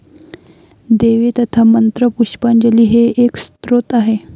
देवे तथा मंत्रपुष्पांजली हे एक स्तोत्र आहे.